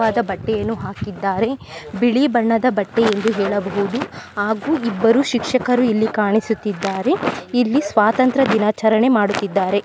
ವದ ಬಟ್ಟೆಯನ್ನು ಹಾಕಿದ್ದಾರೆ. ಬಿಳಿ ಬಣ್ಣದ ಬಟ್ಟೆ ಎಂದು ಹೇಳಬಹುದು ಹಾಗು ಇಬ್ಬರು ಶಿಶಕರು ಇಲ್ಲಿ ಕಾಣಿಸುತ್ತಿದ್ದಾರೆ. ಇಲ್ಲಿ ಸ್ವತಂತ್ರ ದಿನಾಚರಣೆ ಮಾಡುತಿದ್ದರೆ.